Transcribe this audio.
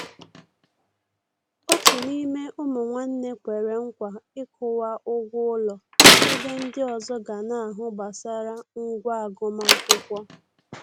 Òtù n'ime ụmụ nwánne kwere nkwa ịkwụwa ụgwọ ụlọ, ebe ndi ọzọ ga na-ahụ gbasara ngwá agụmakwụkwọ.